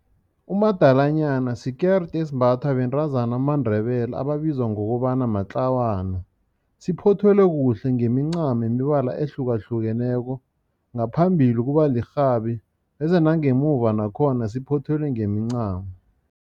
Umadalanyana sikeride esimbathwa bentazana bamaNdebele ebabizwa ngokobana matlawana. Siphothelwe kuhle ngemincamo yemibala ehlukahlukeneko. Ngaphambili kuba lirhabi bese nangemuva nakhona siphothelwe ngemincamo.